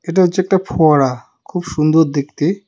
এটা হচ্ছে একটা ফোয়ারা খুব সুন্দর দেখতে.